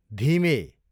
धिमे